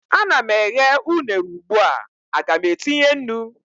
a na m eghe unere ugbua, Aga m etinye nnu?